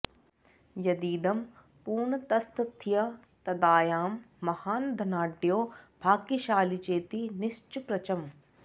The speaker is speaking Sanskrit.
यदीदं पूर्णतस्तथ्य तदायं महान् धनाढ्यो भाग्यशाली चेति निश्चप्रचम्